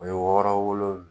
O ye wɔɔrɔ wolonwula